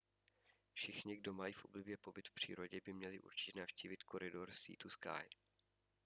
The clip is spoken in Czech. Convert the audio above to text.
všichni kdo mají v oblibě pobyt v přírodě by měli určitě navštívit koridor sea to sky